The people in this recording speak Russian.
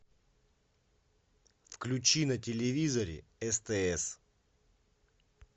включи на телевизоре стс